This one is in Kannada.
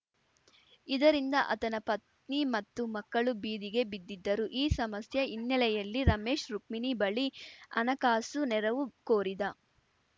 ಇದರಿಂದ ಆತನ ಪತ್ನಿ ಮತ್ತು ಮಕ್ಕಳು ಬೀದಿಗೆ ಬಿದ್ದಿದ್ದರು ಈ ಸಮಸ್ಯೆ ಹಿನ್ನೆಲೆಯಲ್ಲಿ ರಮೇಶ್‌ ರುಕ್ಮಿಣಿ ಬಳಿ ಹಣಕಾಸು ನೆರವು ಕೋರಿದ